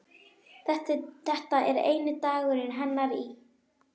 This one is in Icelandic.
Þetta er eini dagur hennar í